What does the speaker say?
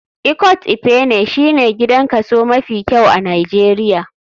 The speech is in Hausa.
Ikot ekpene shine gidan kaso mafi kyau a nijeria.